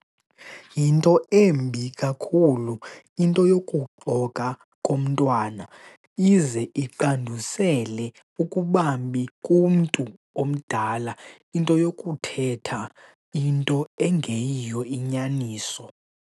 Yinto embi kakhulu into yokuxoka komntwana, ize iqandusele ukubambi kumntu omdala into yokuthetha into engeyiyo inyaniso.